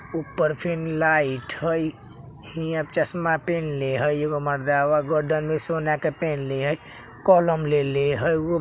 ऊपर fan light हेय हीया चश्मा पेहनले हइ एगो मर्दावा गर्दन में सोना के पेहनले हेय कलम लेले हइ इ --